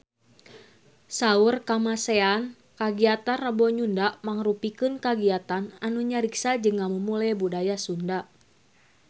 Saur Kamasean kagiatan Rebo Nyunda mangrupikeun kagiatan anu ngariksa jeung ngamumule budaya Sunda